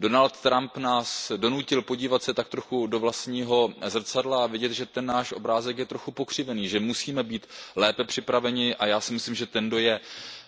Donald Trump nás donutil podívat se tak trochu do vlastního zrcadla a vidět, že ten náš obrázek je trochu pokřivený, že musíme být lépe připraveni, a já si myslím, že ten, kdo je